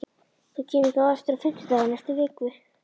Þú kemur þá aftur á fimmtudaginn eftir viku?